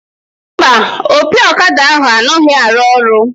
Mba, opi ọkada ahụ anaghị arụ ọrụ